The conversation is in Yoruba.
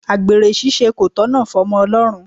Àgbèrè ṣíṣe kò tọ̀nà f'Omolorun.